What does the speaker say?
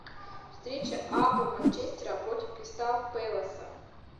встреча апл манчестера против кристал пэласа